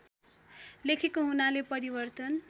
लेखेको हुनाले परिवर्तन